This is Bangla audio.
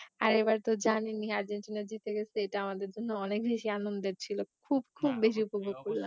আর এবার তো জানেনই আর্জেন্টিনা জিতে গেছে এইটা আমাদের জন্য অনেক বেশি আনন্দের ছিল খুব খুব বেশি উপভোগ করলাম